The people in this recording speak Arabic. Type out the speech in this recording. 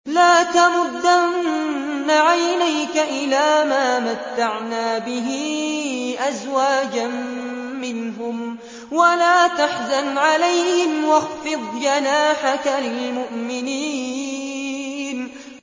لَا تَمُدَّنَّ عَيْنَيْكَ إِلَىٰ مَا مَتَّعْنَا بِهِ أَزْوَاجًا مِّنْهُمْ وَلَا تَحْزَنْ عَلَيْهِمْ وَاخْفِضْ جَنَاحَكَ لِلْمُؤْمِنِينَ